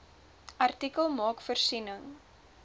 artikel maak voorsiening